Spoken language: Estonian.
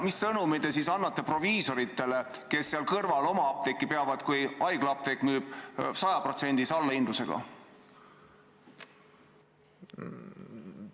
Mis sõnumi te annate proviisoritele, kes seal kõrval oma apteeki peavad, kui haiglaapteek müüb 100%-lise allahindlusega?